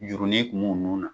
Jurunin tun' b'u nun na.